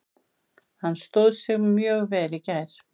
Hann stóð sig mjög vel í gær.